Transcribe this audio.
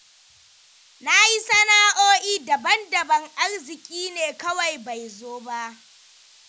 Na yi sana'oi'i daban-daban, arzikin ne kawai bai zo ba.